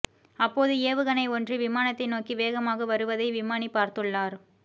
அப்போது ஏவுகணை ஒன்று விமானத்தை நோக்கி வேகமாக வருவதை விமானி பார்த்துள்ளார்